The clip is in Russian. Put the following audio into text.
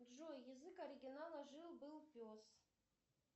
джой язык оригинала жил был пес